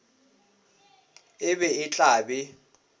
e be e tla be